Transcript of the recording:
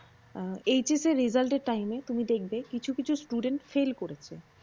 HS এর result এর time এ তুমি দেখবে কিছু কিছু studentfail করেছে।